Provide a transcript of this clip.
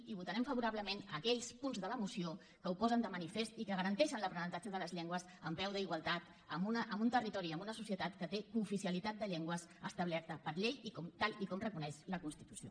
i votarem favorablement aquells punts de la moció que ho posen de manifest i que garanteixen l’aprenentatge de les llengües en peu d’igualtat en un territori i en una societat que té cooficialitat de llengües establerta per llei i tal com reconeix la constitució